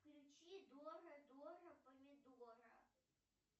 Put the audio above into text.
включи дора дора помидора